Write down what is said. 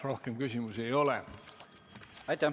Rohkem küsimusi ei ole.